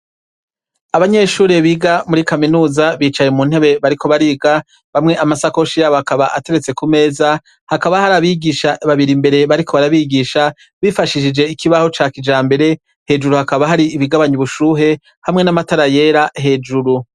Abanyeshure biga muri kaminuza bicaye mu ntebe bariko bariga bamwe amasakoshi yabo hakaba ateretse ku meza hakaba hari abigisha babiri imbere bariko barabigisha bifashishije ikibaho ca kija mbere hejuru hakaba hari ibigabanyi ubushuhe hamwe n'amatara yera hejuru.